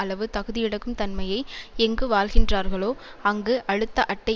அளவு தகுதியிழக்கும் தன்மையை எங்கு வாழ்கிறார்களோ அங்கு அழுத்த அட்டை